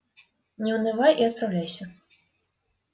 не унывай и отправляйся